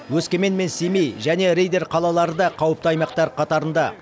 өскемен мен семей және риддер қалалары да қауіпті аймақтар қатарында